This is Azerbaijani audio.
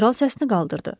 Kral səsini qaldırdı.